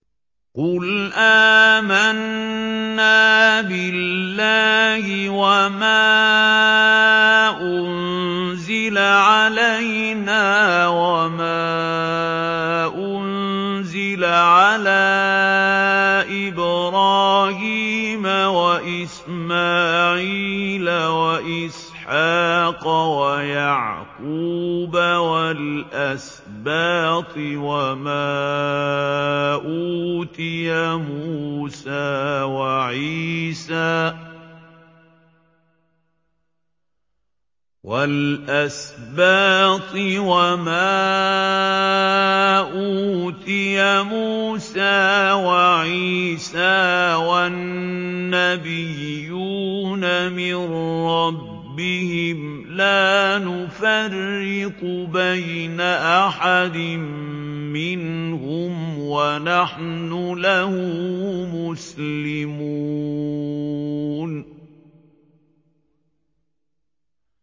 قُلْ آمَنَّا بِاللَّهِ وَمَا أُنزِلَ عَلَيْنَا وَمَا أُنزِلَ عَلَىٰ إِبْرَاهِيمَ وَإِسْمَاعِيلَ وَإِسْحَاقَ وَيَعْقُوبَ وَالْأَسْبَاطِ وَمَا أُوتِيَ مُوسَىٰ وَعِيسَىٰ وَالنَّبِيُّونَ مِن رَّبِّهِمْ لَا نُفَرِّقُ بَيْنَ أَحَدٍ مِّنْهُمْ وَنَحْنُ لَهُ مُسْلِمُونَ